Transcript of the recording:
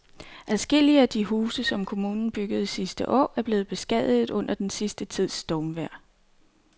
Adskillige af de huse, som kommunen byggede sidste år, er blevet beskadiget under den sidste tids stormvejr.